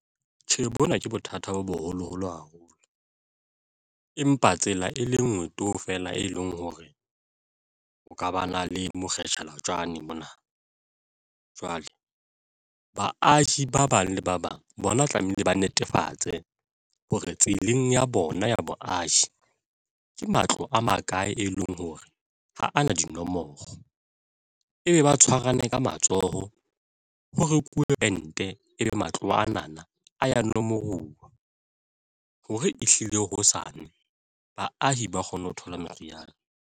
Tjhe, bona ke bothata bo boholoholo haholo, empa tsela e lengwe to! fela e leng hore o ka ba na le mona, jwale baahi ba bang le ba bang bona tlamehile ba netefatse hore tseleng ya bona ya boahi ke matlo a makae e leng hore ha ana dinomoro ebe ba tshwarane ka matsoho, ho rekuwe pente ebe matlo ana na a ya nomoruwa hore ehlile hosane baahi ba kgone ho thola meriana.